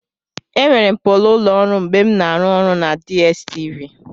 Enwere m polo ụlọ ọrụ mgbe m na-arụ ọrụ na DStv.